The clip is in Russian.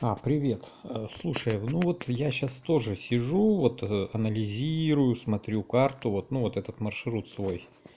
а привет слушай ну вот я сейчас тоже сижу вот анализирую смотрю карту вот ну вот этот маршрут свой